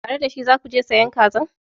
Tare da shi za ku je sayan kazan?